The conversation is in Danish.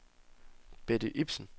Betty Ipsen